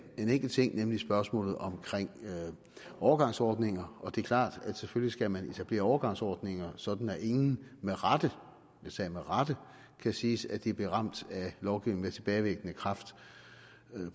enkelt ting nemlig spørgsmålet om overgangsordninger og det er klart at selvfølgelig skal man etablere overgangsordninger sådan at ingen med rette jeg sagde med rette kan sige sige at de blev ramt af lovgivning med tilbagevirkende kraft